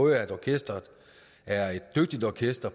at orkesteret er et dygtigt orkester